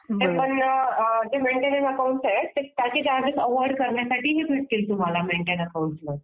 जे आहे त्याचे चार्जेस अव्हॉइड करण्यासाठी तुम्हाला ही सिस्टीम आहे